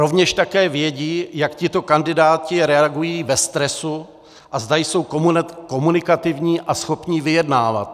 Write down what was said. Rovněž také vědí, jak tito kandidáti reagují ve stresu a zda jsou komunikativní a schopní vyjednávat.